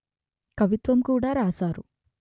కవిత్వం కూడ రాశారు